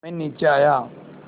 मैं नीचे आया